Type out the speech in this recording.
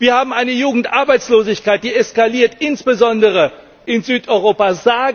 Wir haben eine Jugendarbeitslosigkeit, die eskaliert, insbesondere in Südeuropa.